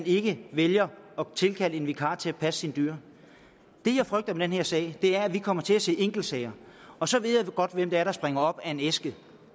ikke vælger at tilkalde en vikar til at passe sine dyr det jeg frygter med den her sag er at vi kommer til at se sådanne enkeltsager og så ved jeg godt hvem det er der springer op af en æske